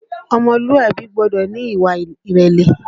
Ọmọlúàbí gbọ́dọ̀ ní ìwà ìrẹ̀lẹ̀